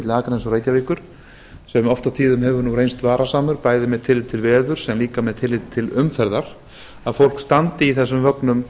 akraness og reykjavíkur sem oft og tíðum hefur reynst varasamur bæði með tilliti til veðurs en líka með tilliti til umferðar að fólk standi í þessum vögnum